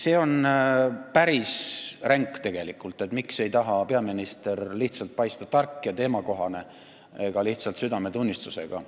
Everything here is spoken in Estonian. See on tegelikult päris ränk küsimus, miks ei taha peaminister paista tark ega teemakohane, kas või lihtsalt südametunnistusega.